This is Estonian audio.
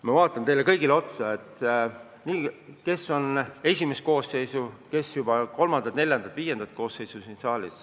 Ma vaatan teile kõigile otsa – kes on siin esimest koosseisu, kes juba kolmandat-neljandat-viiendat koosseisu.